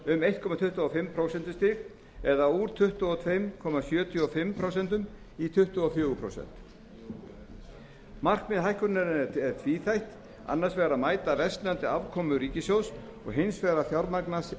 um einn komma tuttugu og fimm prósentustig það er úr tuttugu og tvö komma sjötíu og fimm prósent í tuttugu og fjögur prósent markmið hækkunarinnar er tvíþætt annars vegar að mæta versnandi afkomu ríkissjóðs og hins vegar að fjármagna